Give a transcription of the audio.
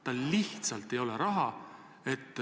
Tal lihtsalt ei ole raha.